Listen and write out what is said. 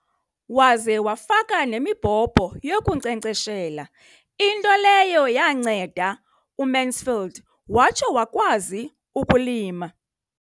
Waze wafaka nemibhobho yokunkcenkceshela, into leyo yanceda uMansfield watsho wakwazi ukulima.